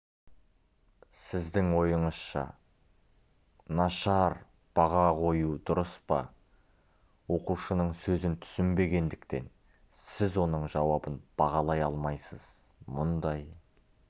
сіздің ойыңызша нашар баға қою дұрыс па оқушының сөзін түсінбегендіктен сіз оның жауабын бағалай алмайсыз мұндай